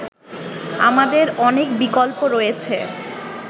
আমাদের অনেক বিকল্প রয়েছে